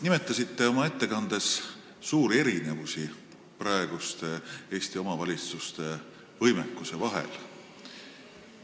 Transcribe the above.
Nimetasite oma ettekandes suuri erinevusi Eesti praeguste omavalitsuste võimekuse vahel.